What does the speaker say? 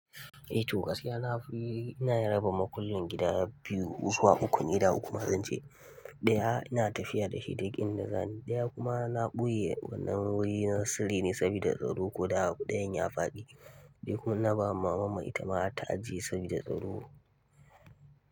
Eh to gaskiya na fi, ina raba makullin gidaje biyu, zuwa uku ne idan kuma zance. Ɗaya ina tafiya da shi duk in da zani, ɗaya kuma na ɓoye wannan wuri na sirri ne saboda tsaro. Kuda guda ɗayan ya faɗi, dayan kuma ina ba mamam itama ta ajiye sabida tsaro.